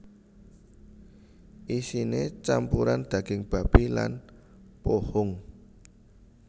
Isiné campuran daging babi lan pohung